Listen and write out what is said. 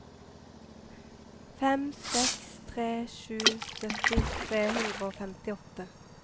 fem seks tre sju sytti tre hundre og femtiåtte